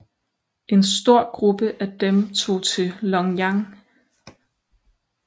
En stor gruppe af dem tog til Longyan